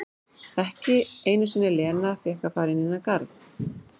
Ekki einu sinni Lena fékk að fara inn í þann garð.